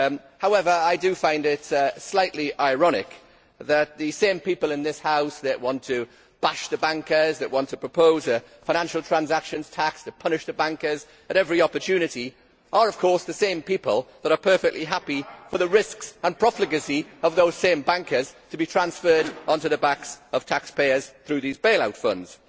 However, I find it slightly ironic that the same people in this House who want to bash the bankers and propose a financial transaction tax to punish the bankers at every opportunity are the same people that are perfectly happy for the risks and profligacy of those same bankers to be transferred on to the backs of taxpayers through these bailout funds.